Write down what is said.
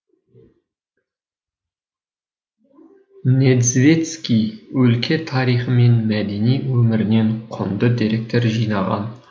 недзвецкий өлке тарихы мен мәдени өмірінен құнды деректер жинаған